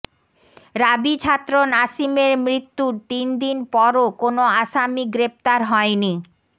রাবি ছাত্র নাসিমের মৃত্যুর তিন দিন পরও কোনো আসামি গ্রেপ্তার হয়নি